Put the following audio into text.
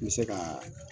N bɛ se ka